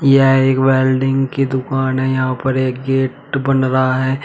यह एक वेल्डिंग की दुकान है यहां पर एक गेट बन रहा हैं।